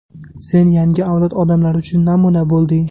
Sen yangi avlod odamlari uchun namuna bo‘lding.